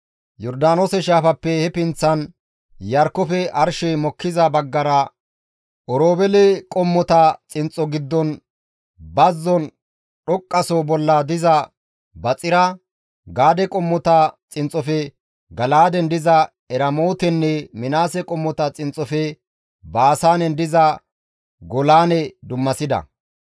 Yordaanoose shaafappe he pinththan, Iyarkkofe arshey mokkiza baggara Oroobeele qommota xinxxo giddon bazzon dhoqqaso bolla diza Baxira, Gaade qommota xinxxofe Gala7aaden diza Eramootenne Minaase qommota xinxxofe Baasaanen diza Golaane dummasida.